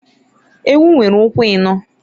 Ewu nwere ụkwụ ịnọọ.